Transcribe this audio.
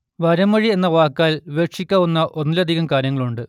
വരമൊഴി എന്ന വാക്കാൽ വിവക്ഷിക്കാവുന്ന ഒന്നിലധികം കാര്യങ്ങളുണ്ട്